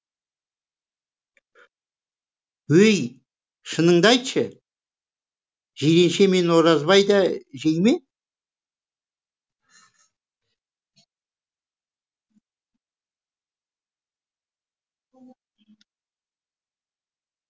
өй шыныңды айтшы жиренше мен оразбай да жей ме